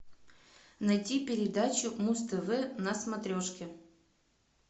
найти передачу муз тв на смотрешке